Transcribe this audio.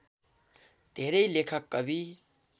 धेरै लेखक कवि